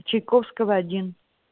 чайковского один